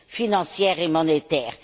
financière et monétaire.